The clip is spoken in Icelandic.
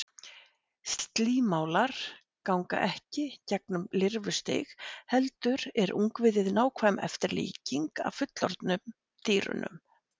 Slímálar ganga ekki gegnum lirfustig heldur er ungviðið nákvæm eftirlíking af fullorðnu dýrunum.